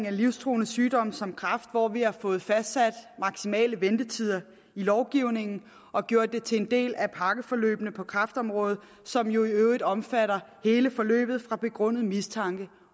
af livstruende sygdomme som kræft hvor vi har fået fastsat maksimale ventetider i lovgivningen og gjort det til en del af pakkeforløbene på kræftområdet som jo i øvrigt omfatter hele forløbet fra begrundet mistanke